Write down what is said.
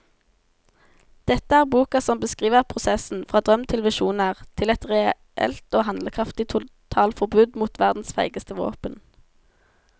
Dette er boka som beskriver prosessen fra drøm til visjoner til et reelt og handlekraftig totalforbud mot verdens feigeste våpen.